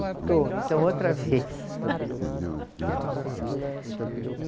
Estou, então outra vez.